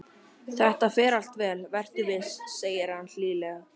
Þetta fer allt vel, vertu viss, segir hann hlýlega.